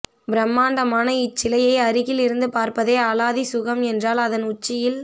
பிரம்மாண்டமான இச்சிலையை அருகிலிருந்து பார்ப்பதே அலாதி சுகம் என்றால் அதன் உச்சியில்